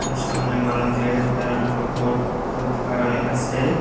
সামনে মানুষ দেখা যাইতাসে আর একটা বোর্ড টোড লাগানি আসে।